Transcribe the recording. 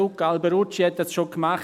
Luca Alberucci hat das schon gemacht.